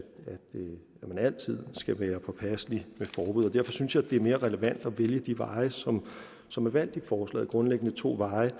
man altid skal være påpasselig med forbud og derfor synes jeg det er mere relevant at vælge de veje som som er valgt i forslaget grundlæggende to veje